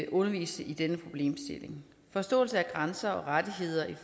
undervise i denne problemstilling forståelsen af grænser og rettigheder i